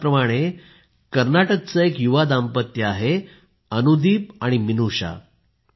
याचप्रमाणे कर्नाटकचं एक युवा दाम्पत्य आहे अनुदीप आणि मिनूषा